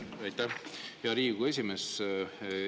Aitäh, hea Riigikogu esimees!